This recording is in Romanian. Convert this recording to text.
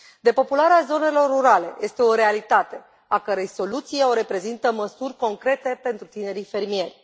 Depopularea zonelor rurale este o realitate a cărei soluție o reprezintă măsurile concrete pentru tinerii fermieri.